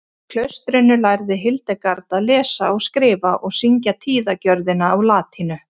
í klaustrinu lærði hildegard að lesa og skrifa og syngja tíðagjörðina á latínu